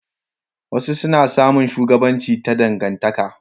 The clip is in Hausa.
wasu na samun shugabanci ta dangantaka